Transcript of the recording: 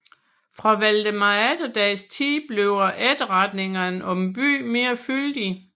Fra Valdemar Atterdags tid bliver efterretningerne om byen mere fyldige